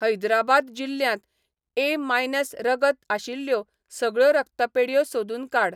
हैदराबाद जिल्ल्यांत A minus रगत आशिल्ल्यो सगळ्यो रक्तपेढयो सोदून काड.